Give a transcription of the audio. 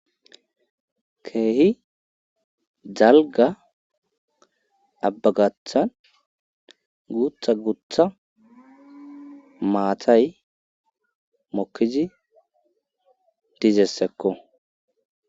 keehi dalga abba gathan gutha gutha maatay mokkizi dizessekko